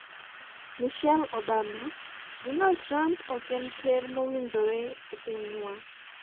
Michelle Obama: Donald Trump ok en ker mowinjore ne pinywa